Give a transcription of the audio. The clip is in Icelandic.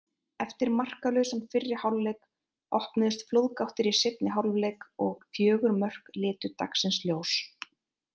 Eftir markalausan fyrri hálfleik opnuðust flóðgáttir í seinni hálfleik og fjögur mörk litu dagsins ljós.